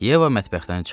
Yeva mətbəxdən çıxdı.